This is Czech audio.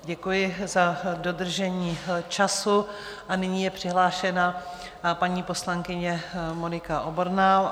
Děkuji za dodržení času a nyní je přihlášena paní poslankyně Monika Oborná.